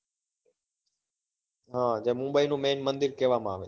હા જે મુંબઈ નું main મંદિર કેવા માં આવે છે.